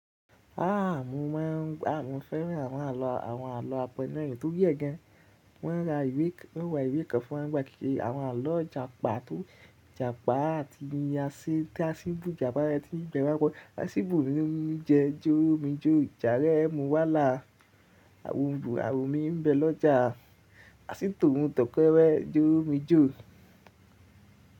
Ah! Mo ma n, a mo fẹ́ràn àwọn àlọ́, àwọn àlọ́ apẹ́nná èyí tó rí ẹ gaan. Wọ́n ra ìwé kan, wọ́n ra ìwé kan fún wa kẹ́kẹ́ àwọn àlọ́ Ìjàpá tó Ìjàpá àti ni Asín, tí Asín bù Ìjàpá rẹ tí ń gbẹ wákọ̀. Asín bù ni ó ń jẹ jó mi jó. Ìjàpá rẹ mú wá là, àwọn òòrùn a ò mú mi ń bẹ lọ́jà. Asín tòun tọkẹ rẹ jó mi jó.